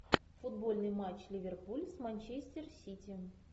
футбольный матч ливерпуль с манчестер сити